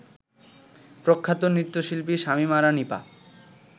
প্রখ্যাত নৃত্যশিল্পী শামীম আরা নীপা